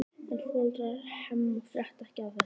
En foreldrar Hemma frétta ekki af þessu.